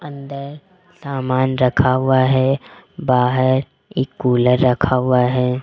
अंदर सामान रखा हुआ है बाहर एक कूलर रखा हुआ है।